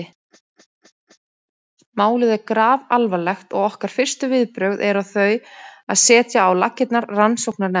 Málið er grafalvarlegt og okkar fyrstu viðbrögð eru þau að setja á laggirnar rannsóknarnefnd.